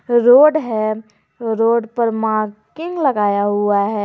Road है road पर मार्किंग लगाया हुआ है।